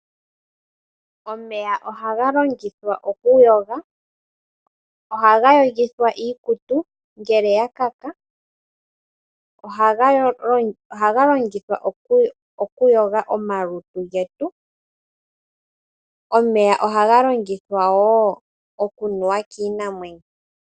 Omeya ohaga longithwa okuyoga, haga yogithwa iikutu ngele yakaka, haga longithwa okuyoga omalutu getu oshowoo ohaga longithwa woo oku nuwa kiinamwenyo.